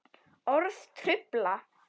Orð trufla.